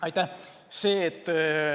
Aitäh!